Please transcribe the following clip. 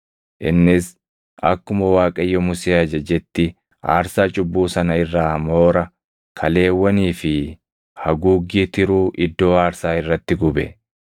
Innis akkuma Waaqayyo Musee ajajetti aarsaa cubbuu sana irraa moora, kaleewwanii fi haguuggii tiruu iddoo aarsaa irratti gube;